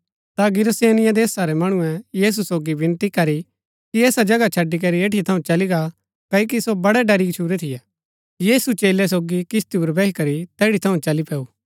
ता गिरासेनियों देशा रै मणुऐ यीशु सोगी विनती करी कि ऐसा जगहा छड़ी करी ऐठी थऊँ चली गा क्ओकि सो वडै़ डरी गच्छुरै थियै यीशु चेलै सोगी किस्ती पुर बैही करी तैठी थऊँ चली पैऊ